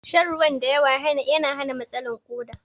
Shan ruwan da yawa na hana matsalan koɗa